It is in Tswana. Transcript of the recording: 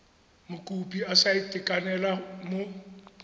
mokopi a sa itekanela mo